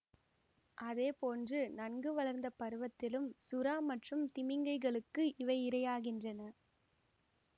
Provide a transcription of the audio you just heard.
அதே போன்று நன்கு வளர்ந்த பருவத்திலும் சுறா மற்றும் திமிங்கைலங்களுக்கு இவை இரையாகின்றன